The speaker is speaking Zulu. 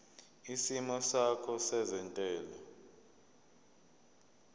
isimo sakho sezentela